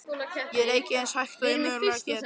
Ég reyki eins hægt og ég mögulega get.